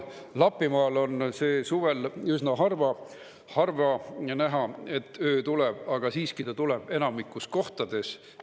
Lapimaal on see suvel üsna harva näha, et öö tuleb, aga siiski ta tuleb enamikus kohtades.